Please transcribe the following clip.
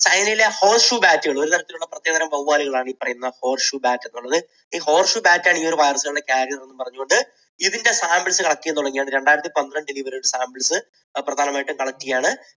ചൈനയിലെ horse shoe bat കൾ, ഒരുതരത്തിലുള്ള പ്രത്യേകതരം വവ്വാലുകൾ ആണ് ഈ പറയുന്ന horse shoe bat എന്നു പറയുന്നത്. ഈ horse shoe bat ണ് ഇത്തരം virus കളുടെ carrier എന്ന് പറഞ്ഞുകൊണ്ട് ഇത് samples collect ചെയ്യാൻ തുടങ്ങിയതാണ്. രണ്ടായിരത്തി പന്ത്രണ്ടിൽ ഇതിൻറെ samples പ്രധാനമായിട്ടും collect ചെയ്യുകയാണ്